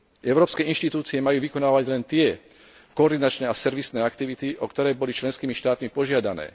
Európske inštitúcie majú vykonávať len tie koordinačné a servisné aktivity, o ktoré boli členskými štátmi požiadané.